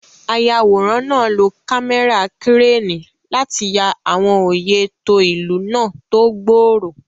Ayàwòrán náà lo kámẹ́rà kírénì láti ya àwọn oyè tó ìlú náà tó gbòòrò.